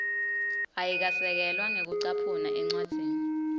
ayikasekelwa ngekucaphuna encwadzini